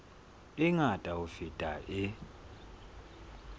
e ngata ho feta e